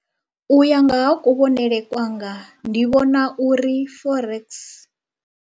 U ya nga ha kuvhonele kwanga ndi vhona uri Forex.